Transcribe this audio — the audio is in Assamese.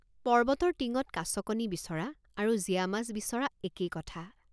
পৰ্বতৰ টিঙত কাছকণী বিচৰা আৰু জীয়া মাছ বিচৰা একেই কথা।